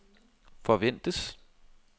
forventes